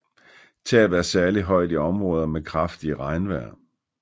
Tabet er særligt højt i områder med kraftige regnvejr